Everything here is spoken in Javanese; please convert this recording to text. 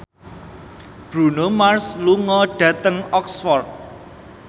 Bruno Mars lunga dhateng Oxford